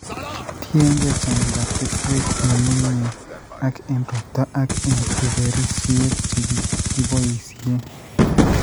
tiengei chang'indap kesweek ng'ung'unyek, ak eng' ropta, ak eng' tuberisyet che kikiboisye,